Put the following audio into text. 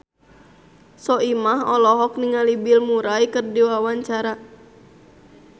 Soimah olohok ningali Bill Murray keur diwawancara